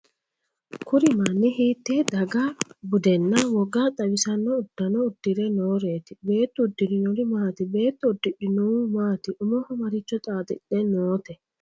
kuri manni hiitee daga budenna woga xawissanno uddano uddire nooreeti? beettu uddirinohu maati? beetto uddidhinohu maati? umoho maricho xaaxidhe noote?